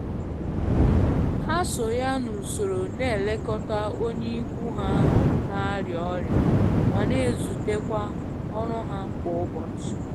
Ha so ya n'usoro na elekọta onye ikwu ha na-arịa ọrịa ma n'ezute kwa ọrụ ha kwa ụbọchị.